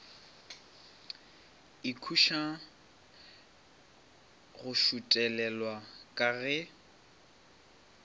ikhutša go šuthelelwa ka ge